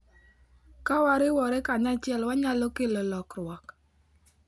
Ka wariwore kanyachiel, wanyalo kelo lokruok.